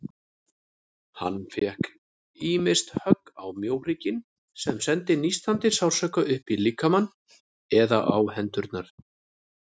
Hann fékk ýmist högg á mjóhrygginn, sem sendi nístandi sársauka upp líkamann, eða á hendurnar.